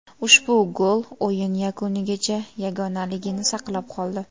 Ushbu gol o‘yin yakunigacha yagonaligini saqlab qoldi.